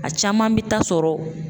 A caman bɛ taa sɔrɔ.